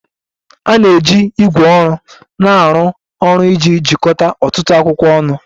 A na-eji ígwè ọrụ na-arụ ọrụ iji jikọta ọtụtụ akwụkwọ ọnụ.